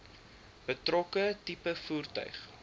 betrokke tipe voertuig